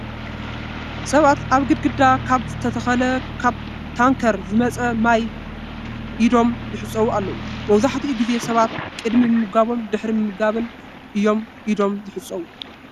ሰባት ኣብ ግድግዳ ካብ ዝተተኸለ ካብ ታንከር ዝመፀ ማይ ኢዶም ይሕፀቡ ኣለዉ፡፡ መብዛሕትኡ ጊዜ ሰባት ቅድሚ ምምጋቦምን ድሕሪ ምምጋቦምን እዮም ኢዶም ዝሕፀቡ፡፡